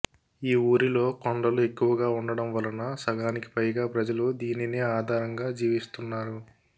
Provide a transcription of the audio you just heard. ఈ ఊరిలో కొండలు ఎక్కువగా ఉండటంవలన సగానికి పైగా ప్రజలు దీనినే ఆదరంగా జీవిస్తూన్నారు